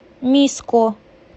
миско